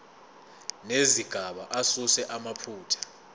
nezigaba asuse amaphutha